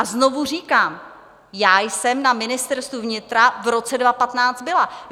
A znovu říkám, já jsem na Ministerstvu vnitra v roce 2015 byla.